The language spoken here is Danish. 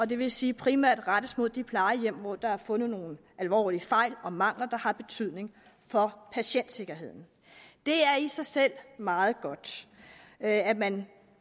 det vil sige primært rettet mod de plejehjem hvor der er fundet nogle alvorlige fejl og mangler der har betydning for patientsikkerheden det er i sig selv meget godt at at man